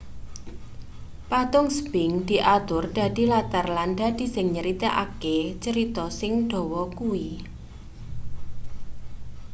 patung sphinx diatur dadi latar lan dadi sing nyeritakake cerita sing dawa kuwi